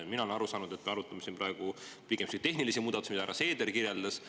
Mina olen aru saanud, et me arutame siin praegu pigem tehnilisi muudatusi, mida härra Seeder kirjeldas.